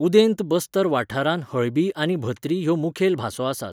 उदेंत बस्तर वाठारांत हळबी आनी भत्री ह्यो मुखेल भासो आसात.